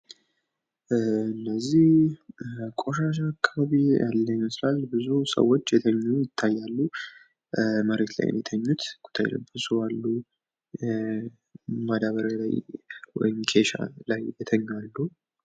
እነዚህ ቆሻሻ አካባቢ ያለ ይመስላል ። ብዙ ሰዎች የተኙ ይታያሉ ። መሬት ላይ የሚተኙ ብዙ አሉ ማዳበርያ ላይ ወይም ኬሻ ላይ የተኙ አሉ ።